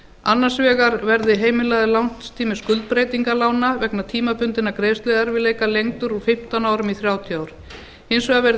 annars vegar verði heimilaður lánstími skuldbreytinga lána vegna tímabundinna greiðsluerfiðleika lengdur úr fimmtán árum í þrjátíu ár hins vegar verði